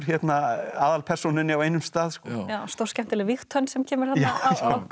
aðalpersónunni á einum stað stórskemmtileg vígtönn sem kemur þarna á gott